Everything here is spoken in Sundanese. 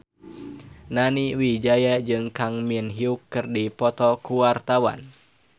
Nani Wijaya jeung Kang Min Hyuk keur dipoto ku wartawan